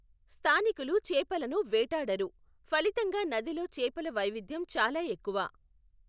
స్థానికులు చేపలను వేటాడరు, ఫలితంగా నదిలో చేపల వైవిధ్యం చాలా ఎక్కువ.